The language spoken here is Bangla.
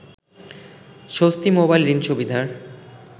স্বস্তি মোবাইল ঋণ সুবিধার